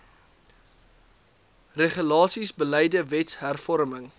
regulasies beleide wetshervorming